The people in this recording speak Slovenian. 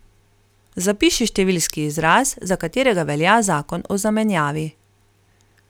Zapiši številski izraz, za katerega velja zakon o zamenjavi.